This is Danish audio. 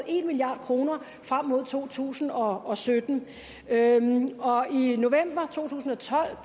en milliard kroner frem mod to tusind og sytten i november to tusind og tolv